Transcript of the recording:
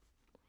DR K